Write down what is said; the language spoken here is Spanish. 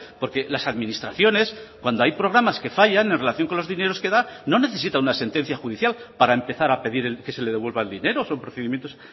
porque las administraciones cuando hay programas que fallan en relación con los dineros que da no necesita una sentencia judicial para empezar a pedir que se le devuelva el dinero son procedimientos